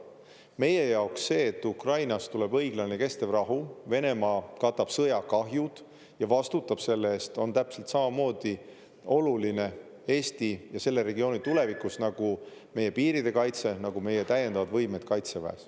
Meie jaoks see, et Ukrainas tuleb õiglane ja kestev rahu, Venemaa katab sõjakahjud ja vastutab selle eest, on täpselt samamoodi oluline Eesti ja selle regiooni tulevikus, nagu meie piiride kaitse, nagu meie täiendavad võimed Kaitseväes.